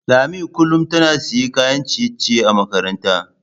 Lami kullum tana siyan kayan ciye-ciye a makaranta.